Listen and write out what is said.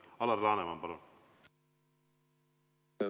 Alar Laneman, palun!